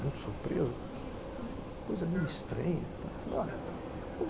muito surpreso, coisa meio estranha, tal, falei olha